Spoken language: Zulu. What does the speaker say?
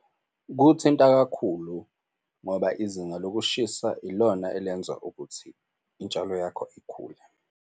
Kuthinta kakhulu ngoba izinga lokushisa ilona elenza ukuthi intshalo yakho ikhule.